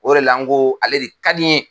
O de la n ko ale de ka di n ye.